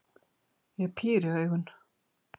Ég píri augun.